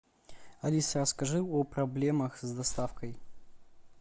алиса расскажи о проблемах с доставкой